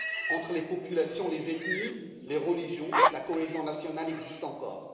Entre les populations, les ethnies, les religions, la cohésion nationale existe encore.